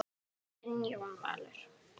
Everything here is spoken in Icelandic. Þinn Jón Valur.